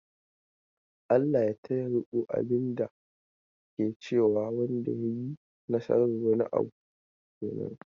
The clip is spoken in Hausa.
"ALLAH ya taya riko". abin da ke cewa wanda ya yi nasar wani abu kenan.